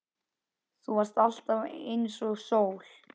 Þú varst alltaf einsog sól.